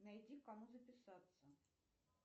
найди к кому записаться